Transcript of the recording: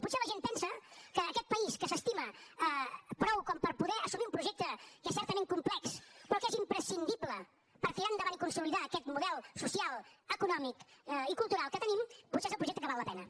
potser la gent pensa que aquest país que s’estima prou com per poder assumir un projecte que és certament complex però que és imprescindible per tirar endavant i consolidar aquest model social econòmic i cultural que tenim potser és el projecte que val la pena